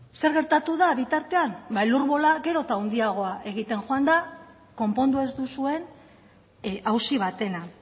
zer gertatu da bitartean ba elur bola gero eta handiagoa egiten joan da konpondu ez duzuen auzi batena